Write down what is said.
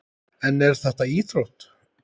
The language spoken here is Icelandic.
En er þetta íþrótt?